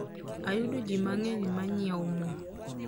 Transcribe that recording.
oyudo ji mangeny manyiewo mo